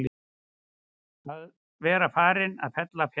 Að vera farinn að fella fjaðrirnar